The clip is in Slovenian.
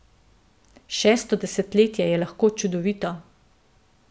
Šesto desetletje je lahko čudovito.